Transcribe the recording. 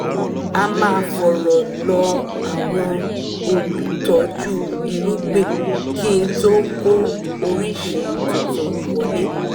a máa fọ̀rọ̀ lọ àwọn olùtọ́jú irúgbìn kí ntó kó oríṣi tuntun wọlé